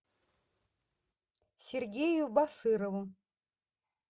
сергею басырову